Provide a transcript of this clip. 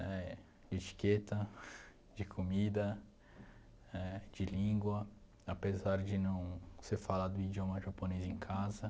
éh etiqueta, de comida, de língua, apesar de não se falar do idioma japonês em casa.